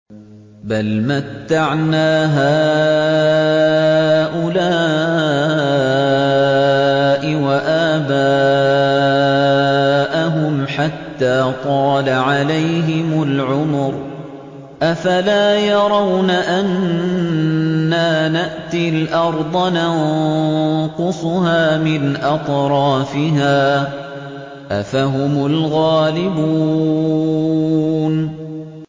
بَلْ مَتَّعْنَا هَٰؤُلَاءِ وَآبَاءَهُمْ حَتَّىٰ طَالَ عَلَيْهِمُ الْعُمُرُ ۗ أَفَلَا يَرَوْنَ أَنَّا نَأْتِي الْأَرْضَ نَنقُصُهَا مِنْ أَطْرَافِهَا ۚ أَفَهُمُ الْغَالِبُونَ